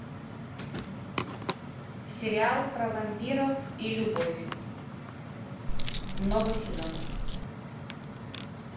сериал про вампиров и любовь много сезонов